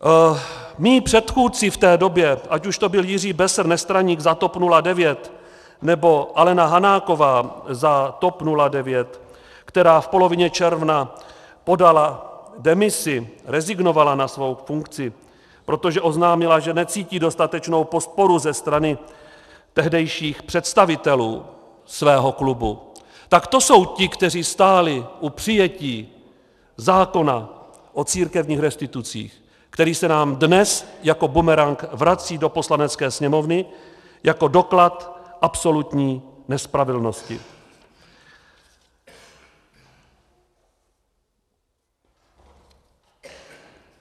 Mí předchůdci v té době, ať už to byli Jiří Besser, nestraník za TOP 09, nebo Alena Hanáková za TOP 09, která v polovině června podala demisi, rezignovala na svou funkci, protože oznámila, že necítí dostatečnou podporu ze strany tehdejších představitelů svého klubu, tak to jsou ti, kteří stáli u přijetí zákona o církevních restitucích, který se nám dnes jako bumerang vrací do Poslanecké sněmovny jako doklad absolutní nespravedlnosti.